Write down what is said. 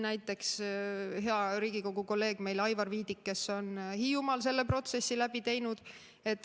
Näiteks hea Riigikogu kolleeg Aivar Viidik on Hiiumaal selle protsessi läbi teinud.